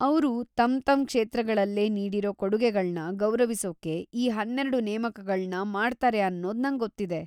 ಅವ್ರು ತಮ್ತಮ್ ಕ್ಷೇತ್ರಗಳ್ಗೆ ನೀಡಿರೋ ಕೊಡುಗೆಗಳ್ನ ಗೌರವಿಸೋಕೆ ಈ ಹನ್ನೆರಡು ನೇಮಕಗಳ್ನ ಮಾಡ್ತಾರೆ ಅನ್ನೋದ್ ನಂಗೊತ್ತಿದೆ.